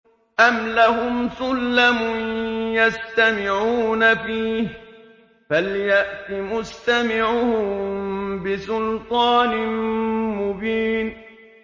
أَمْ لَهُمْ سُلَّمٌ يَسْتَمِعُونَ فِيهِ ۖ فَلْيَأْتِ مُسْتَمِعُهُم بِسُلْطَانٍ مُّبِينٍ